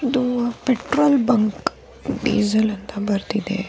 ಇದು petrol bunk diesel ಅಂತ ಬರ್ದಿದೆ .